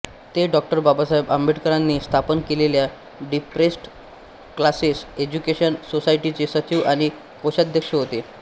ते डॉ बाबासाहेब आंबेडकरांनी स्थापन केलेल्या डिप्रेस्ड क्लासेस एज्युकेशन सोसायटीचे सचिव आणि कोषाध्यक्ष होते